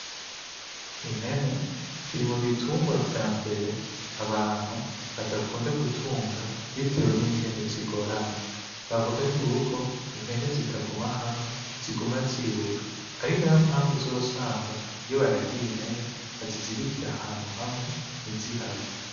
Impene kiri mu bitungwa vya mbere abantu badakunda gutunga bitewe ningene zigorana bavuga yuko impene zitaguma hamwe ziguma ziruka ari nayo mpamvu uzosanga iyo baragiye impene bazizirikirana ahantu hamwe ntizihave